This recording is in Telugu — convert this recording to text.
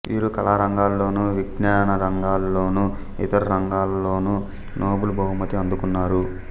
వీరు కళారంగంలోనూ విజ్ఞానరంగంలోనూ ఇతర రంగాలలోనూ నోబుల్ బహుమతి అందుకున్నారు